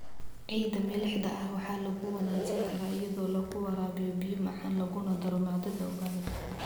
Ciidda milixda ah waxaa lagu wanaajin karaa iyadoo lagu waraabiyo biyo macaan laguna daro maadada organic.